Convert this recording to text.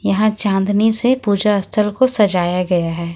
यहां चांदनी से पूजा स्थल को सजाया गया है।